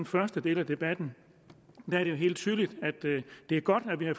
første del af debatten er det jo helt tydeligt at det er godt at vi har